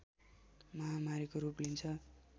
महामारीको रूप लिन्छ